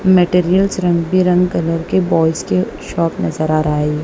Materials रंग भी रंग कलर के बॉल्स के शॉप नजर आ रहा है ये।